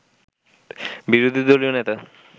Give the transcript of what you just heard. বিরোধী দলীয় নেতা